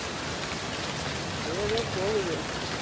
அப்படியே தான் போகுது